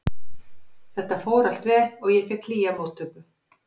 Þetta fór allt vel og ég fékk hlýja móttöku.